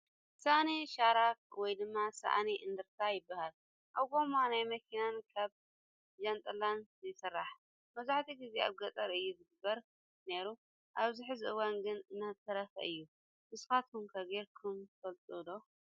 ሳእኒ ሽራክ ወይ ድማ ሳእኒ እንደርታ ይባሃል ። ካብ ጎማ ናይ መኪናን ካብ ጃንጥላን ይስራሕ ። መብዛሕቲ ግዚ ኣብ ገጠር እዩ ዝግበር ነይሩ ኣብዚ ሕዚ እዋን ግን እናተረፈ እዩ ። ንስካትኩም ገይርኩም ትፈልጡ ዶ ?